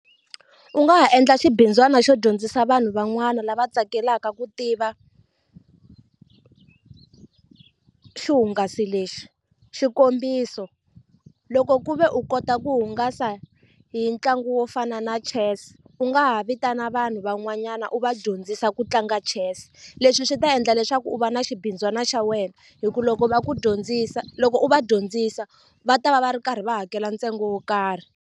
U nga ha endla xibindzwana xo dyondzisa vanhu van'wana lava tsakelaka ku tiva xihungasi lexi xikombiso loko ku ve u kota ku hungasa hi ntlangu wo fana na chess u nga ha vitana vanhu van'wanyana u va dyondzisa ku tlanga chess leswi swi ta endla leswaku u va na xibindzwana xa wena hikuva loko va ku dyondzisa loko u va dyondzisa va ta va va ri karhi va hakela ntsengo wo karhi.